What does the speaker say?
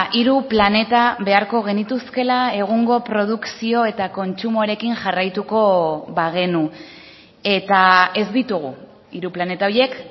hiru planeta beharko genituzkeela egungo produkzio eta kontsumoarekin jarraituko bagenu eta ez ditugu hiru planeta horiek